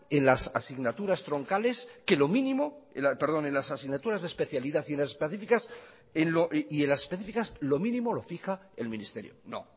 las asignaturas troncales que lo mínimo y las asignaturas de especialidad y en las específicas lo mínimo lo fija el ministerio no